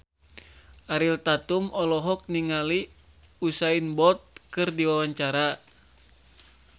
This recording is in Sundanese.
Ariel Tatum olohok ningali Usain Bolt keur diwawancara